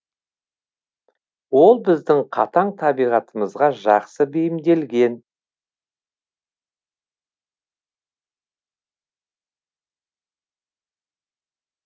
ол біздің қатаң табиғатымызға жақсы бейімделген